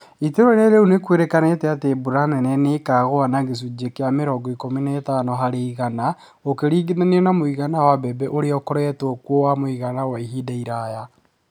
Itũũra-inĩ reu nĩ kwerekanire atĩ mbura nene nĩ ĩkaagũa na gĩcunjĩ kĩa mĩrongo ikumi na ĩtano harĩ igana gũkĩringithanio na mũigana wa mbembe ũrĩa ũkoretwo wa mũigana kwa ihinda iraya.